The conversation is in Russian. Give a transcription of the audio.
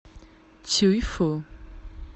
цюйфу